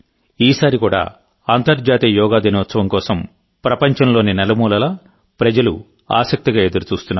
ఈసారి కూడా అంతర్జాతీయ యోగా దినోత్సవం కోసం ప్రపంచంలోని నలుమూలలా ప్రజలు ఆసక్తిగా ఎదురుచూస్తున్నారు